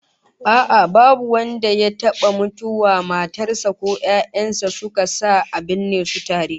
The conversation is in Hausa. A'a, babu wanda ya taba mutuwa matar sa ko 'ya'yan sa suka sa a binne su tare